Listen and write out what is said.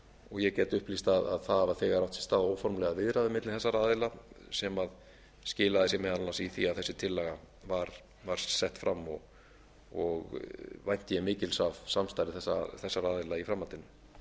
og ég get upplýst að þegar hafa átt sér stað óformlegar viðræður milli þeirra aðila sem skilar sér meðal annars í því að þessi tillaga var sett fram og vænti ég mikils af samstarfi þessara aðila í framhaldinu